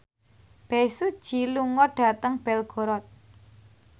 Bae Su Ji lunga dhateng Belgorod